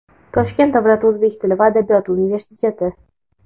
Toshkent davlat o‘zbek tili va adabiyoti universiteti;.